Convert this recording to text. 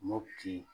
Mopti